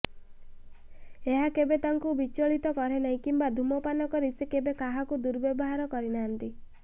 ଏହା କେବେ ତାଙ୍କୁ ବିଚଳିତ କରେନାହିଁ କିମ୍ବା ଧୂମପାନ କରି ସେ କେବେ କାହାକୁ ଦୁର୍ବ୍ୟବହାର କରିନାହାନ୍ତି